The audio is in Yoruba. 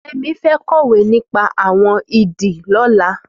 Femi fẹ̀ kọwé nipà awọn idì lọ̀lá